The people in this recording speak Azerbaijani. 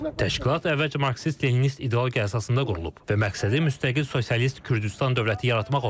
Təşkilat əvvəlcə marksist-leninist ideologiya əsasında qurulub və məqsədi müstəqil sosialist Kürdüstan dövləti yaratmaq olub.